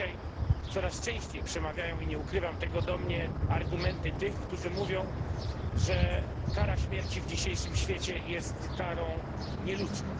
Dzisiaj coraz częściej przemawiają do mnie i nie ukrywam tego argumenty tych, którzy mówią, że kara śmierci w dzisiejszym świecie jest karą nieludzką.